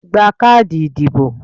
Gba káàdì ìdìbò